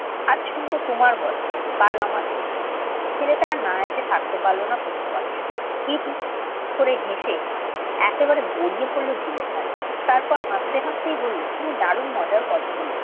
আজ শুনবো তোমার গল্প। কাল আমার। ছেলেটা আর না হেসে থাকতে পারল না তনুর কথা শুনে। হি হি করে হেসে একবারে গড়িয়ে পড়ল ঝিলের ধারে। তারপর হাসতে হাসতে বললে, তুমি দারুণ মজার কথা বলেছ।